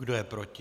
Kdo je proti?